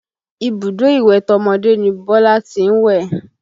Ibùdó ìwẹ̀ tọmọdé ni Bọ́lá tí ń wẹ̀